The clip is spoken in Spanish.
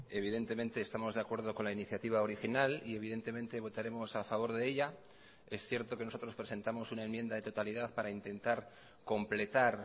evidentemente estamos de acuerdo con la iniciativa original y evidentemente votaremos a favor de ella es cierto que nosotros presentamos una enmienda de totalidad para intentar completar